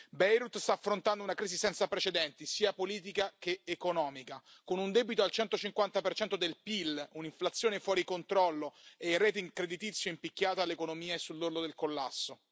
Beirut sta affrontando una crisi senza precedenti, sia politica che economica, con un debito al 150 del PIL, un'inflazione fuori controllo e il rating creditizio in picchiata, e l'economia è sull'orlo del collasso.